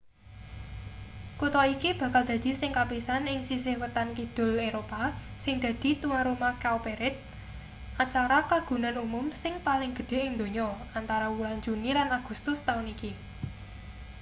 kutha iki bakal dadi sing kapisan ing sisih wetan-kidul eropa sing dadi tuwan omah cowparade acara kagunan umum sing paling gedhe ing donya antara wulan juni lan agustus taun iki